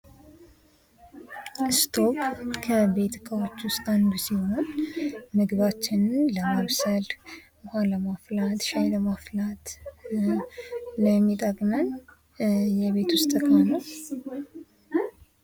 እስቶቩ ከቤት ዕቃዎች ውስጥ አንዱ ሲሆን ምግባችንን ለማብሰል፣ ውሃ ለማፍላት፣ ሻይ ለማፍላት ለሚጠቅመን የቤት ውስጥ ዕቃ ነው።